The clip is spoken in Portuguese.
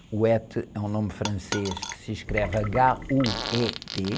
é um nome francês que se escreve agá, u, ê, tê.